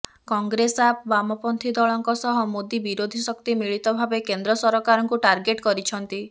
କଂଗ୍ରେସ ଆପ୍ ବାମପନ୍ଥୀ ଦଳଙ୍କ ସହ ମୋଦି ବିରୋଧୀ ଶକ୍ତି ମିଳିତ ଭାବେ କେନ୍ଦ୍ର ସରକାରଙ୍କୁ ଟାର୍ଗେଟ କରିଛନ୍ତି